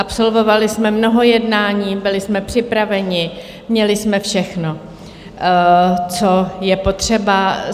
Absolvovali jsme mnoho jednání, byli jsme připraveni, měli jsme všechno, co je potřeba.